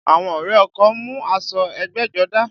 Àwọn ọrẹ ọkọ mú aṣọ ẹgbẹ́jọdá